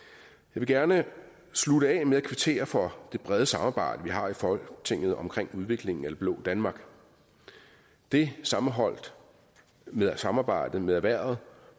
vil gerne slutte af med at kvittere for det brede samarbejde vi har i folketinget om udviklingen af det blå danmark det sammenholdt med samarbejdet med erhvervet